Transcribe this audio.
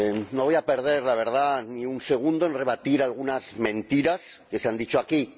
No voy a perder ni un segundo en rebatir algunas mentiras que se han dicho aquí.